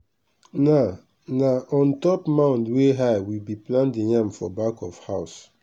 na na on top mound wey high we bi plant the yam for back of house.